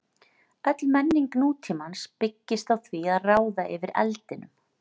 Öll menning nútímans byggist á því að ráða yfir eldinum.